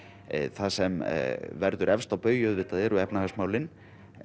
það sem verður efst á baugi auðvitað eru efnahagsmálin